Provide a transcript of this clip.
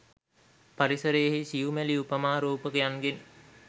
පරිසරයෙහි සියුමැලි උපමා රූපකයන්ගෙන්